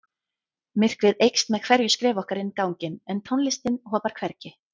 Myrkrið eykst með hverju skrefi okkar inn ganginn en tónlistin hopar hvergi.